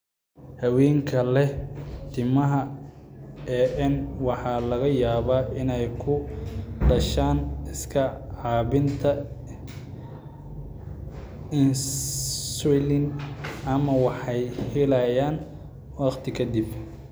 Haweenka leh timaha AN waxaa laga yaabaa inay ku dhashaan iska caabbinta insulin ama waxay helayaan waqti ka dib.